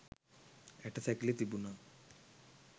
ඇටසැකිලි තිබුණා.